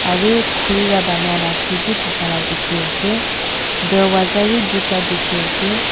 arel khuri wa banai la seat bi thakala dikhiase dorvaza bi tuita dikhiase.